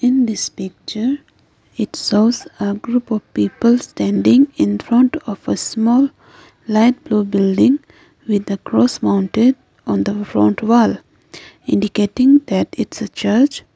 in this picture it shows a group of people standing in front of a small light blue building with a cross mounted on the front wall indicating that its a church.